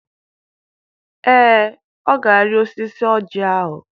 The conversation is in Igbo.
Ee, ọ ga-arị osisi ọjị ahụ.